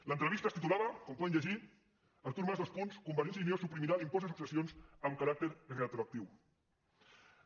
l’entrevista es titulava com poden llegir artur mas convergència i unió suprimirà l’impost de successions amb caràcter retroactiu